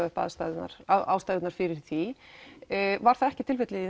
upp ástæðurnar ástæðurnar fyrir því var það ekki tilfellið